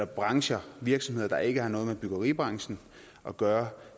brancher og virksomheder der ikke har noget med byggeribranchen at gøre